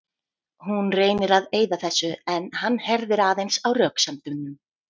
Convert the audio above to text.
Hún reynir að eyða þessu en hann herðir aðeins á röksemdunum.